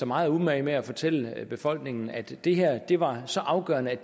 meget umage med at fortælle befolkningen at det her var så afgørende